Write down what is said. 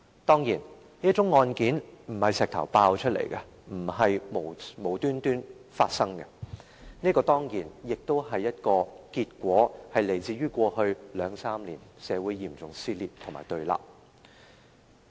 當然，這宗案件並非由石頭爆出來，並非無故發生，這個結果當然是來自過去兩三年來社會的嚴重撕裂和對立。